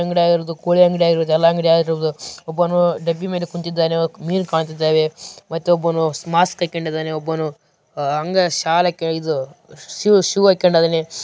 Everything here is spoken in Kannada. ಇವರದ್ದು ಕೋಳಿ ಅಂಗಡಿ ಯಾವುದೇ ಅಂಗಡಿಯಾಗಿರಬಹುದು ಒಬ್ಬನು ಡಬ್ಬಿ ಮೇಲೆ ಕೂತಿದ್ದಾನೆ ಮೀನು ಕಾಣುತ್ತಿದೆ ಮತ್ತೊಬ್ಬನು ಮಾಸ್ಕ್‌ ಹಾಕಿಕೊಂಡಿದ್ದಾನೆ ಒಬ್ಬನು ಅಂಗ ಶಾಲ್ ಹಾಕಿಕೊಂಡಿದ್ದಾನೆ ಶೂ ಹಾಕಿಕೊಂಡಿದ್ದಾನೆ.